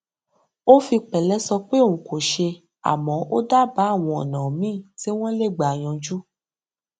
ó fi pẹlẹ sọ pé òun kò ṣe àmọ ó dábàá àwọn ọnà míì tí wọn lè gbà yanjú